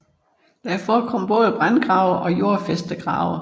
Der forekom både brandgrave og jordfæstegrave